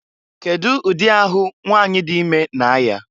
Kedu ụdị ahụ nwanyị dị ime na-aya?